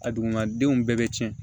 A duguma denw bɛɛ bɛ tiɲɛ